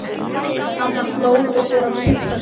Amma hló og fór að punta sig.